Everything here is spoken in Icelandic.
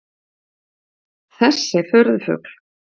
Þessi furðufugl?